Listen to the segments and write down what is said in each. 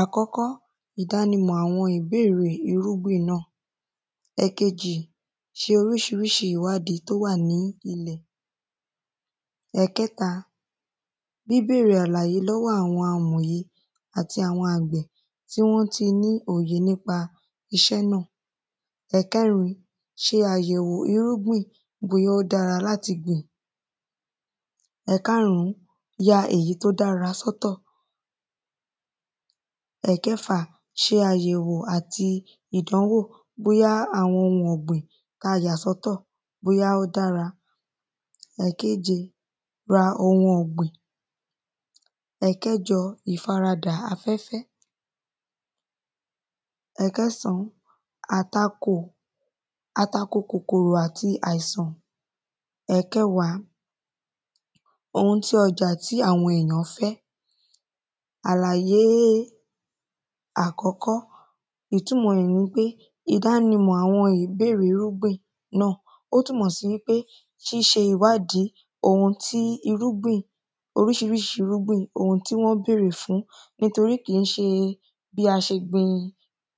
Àkọ́kọ́ ìdánimọ̀ àwọn ìbèrè irúgbìn náà ẹ̀kejì ti oríṣiríṣi ìwádìí tó wà ní ilẹ̀ ẹ̀kẹta bíbẹ̀rẹ̀ àlàyé láàrin àwọn amòye àti àwọn àgbẹ̀ tí wọ́n ti ní òye nípa iṣẹ́ náà ẹ̀kẹrin ṣe àyẹ̀wò irúgbìn bóyá ó dára láti gbìn ẹ̀karùn ya èyí tí ó dára sọ́tọ̀ ẹ̀kẹfà ṣe àyẹ̀wò àti ìdánwò bóyá àwọn ohun ọ̀gbìn tá yà sọ́tọ̀ bóyá ó dára ẹ̀keje ra ohun ọ̀gbìn ẹ̀kẹjọ ìfaradà afẹ́fẹ́ ẹ̀kẹsàn àtakò àtakò kòkòrò àti àìsàn. ẹ̀kẹwàá ohun tí ọjà tí àwọn èyàn ń fẹ́. Àlàyé àkọ́kọ́ ìtúnmọ̀ rẹ̀ nipé ìdánimọ̀ àwọn ìbéèrè irúgbìn náà ó túnmọ̀ sí wípé ṣíṣe ìwádìí ohun tí irúgbìn oríṣiríṣi irúgbìn ohun tí wọ́n bèrè fún nítorí kìí ṣe bí a ṣe gbin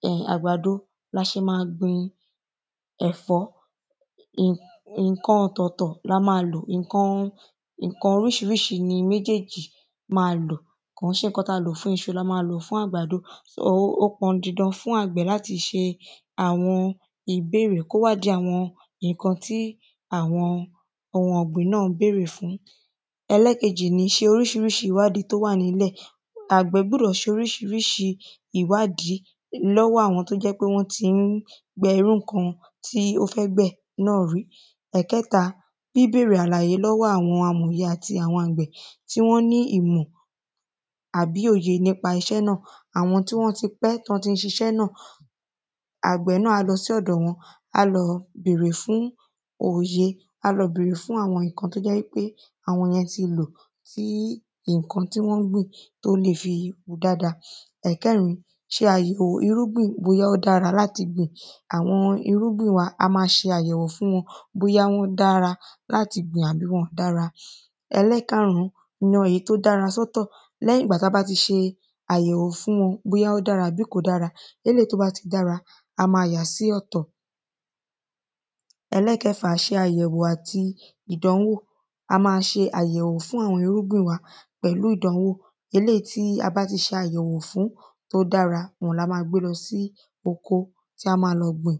um àgbàdo la ṣe má gbin ẹ̀fọ́ nǹkan ọ̀tọ̀tọ̀ la má lò nǹkan nǹkan oríṣiríṣi ni méjèjì má lò kò ń ṣe nǹkan tí a lò fún iṣu la má lò fún àgbàdo so ó pọn dandan fún àgbẹ̀ láti ṣe àwọn ìbéèrè kó wádìí àwọn nǹkan tí àwọn ohun ọ̀gbìn náà ń bèrè fún. Ẹlẹ́ẹ̀kejì ni ṣe oríṣiríṣi ìwádìí tó wà nílẹ̀ àgbẹ̀ gbúdọ̀ ṣe oríṣiríṣi ìwádìí lọ́wọ́ àwọn tó jẹ́ wípé wọ́n tí ń gbẹ irú nǹkan tó fẹ́ gbẹ̀ rí Ẹ̀kẹ́ta bíbèrè àlàyé lọ́wọ́ àwọn amòye àti àwọn àgbẹ̀ tí wọ́n ní ìmọ̀ àbí òye nípa iṣẹ́ náà àwọn tí wọ́n ti pẹ́ tí wọ́n tí ń ṣiṣẹ́ náà àgbẹ̀ náà á lọ sí ọ̀dọ̀ wọn á lọ bèrè fún òye á lọ bèrè fún àwọn nǹkan tó jẹ́ wípé àwọn yẹn ti lò kí nǹkan tí wọ́n gbìn tó lè fi hù dáada Ẹ̀kẹrin ṣe àyẹ̀wò irúgbìn bóyá ó dára láti gbìn àwọn irúgbìn wa a má ṣe àyẹ̀wò fún wọn bóyá ó dára láti gbìn àbí wọn dára. Ẹlẹ́ẹ̀karùn yan èyí tó dára sọ́tọ̀ lẹ́yìn ìgbà tá bá ti ṣe àyẹ̀wò fún wọn bóyá ó dára àbí kò dára eléèyí tó bá dára a má yàá sí ọ̀tọ̀ Ẹlẹ́ẹ̀kẹfà ṣe àyẹ̀wò àti ìdánwò a má ṣe àyẹ̀wò fún àwọn irúgbìn wa pẹ̀lú ìdánwò eléèyí tí a bá ti ṣàyẹ̀wò fún tí ó dára òhun ni a má gbé lọ sí oko tí a má lọ gbìn.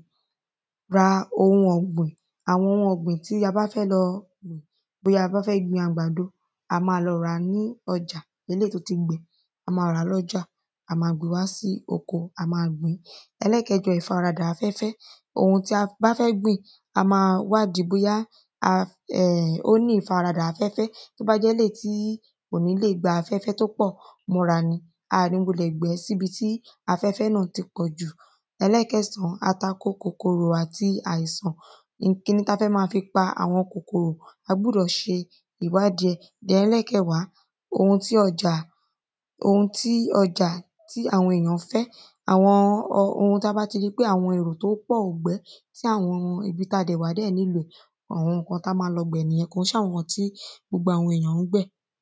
Ra ohun ọ̀gbìn àwọn ohun ọ̀gbìn tí a bá fẹ́ lọ bóyá a fẹ́ gbin àgbàdo a má lọ ràá ní ọjà eléèyí tó ti gbẹ a má ràá lọ́jà a má gbé lọ sí oko a má gbìn Ẹlẹ́ẹ̀kẹjọ ìfaradà afẹ́fẹ́ ohun tí a bá fẹ́ gbìn a má wádìí bóyá ó ní ìfaradà afẹ́fẹ́ tó bá jẹ́ eléèyí tí kò ní lè gba afẹ́fẹ́ tó pọ̀ mọ́ra ni a ní wulẹ̀ gbẹ́ sí ibi tí afẹ́fẹ́ náà ti pọ̀ jù. Ẹlẹ́ẹ̀kẹsàn atako kòkòrò àti àìsàn n tá fẹ́ mọ́ fi pa kòkòrò a gbúdọ̀ ṣe ìwádìí ẹ̀. Ẹlẹ́ẹ̀kẹwàá ohun tí ọjà ohun tí ọjà tí àwọn èyàn fẹ́ àwọn ohun tí a bá ti rí pé àwọn èrò tí ó pọ̀ gbẹ́ tí àwọn èyàn níbi tá wà dẹ̀ nílò ẹ̀ àwọn nǹkan tí a má lọ gbẹ̀ nìyẹn kò í ṣe àwọn nǹkan tí gbogbo àwọn ènìyàn ń gbẹ̀.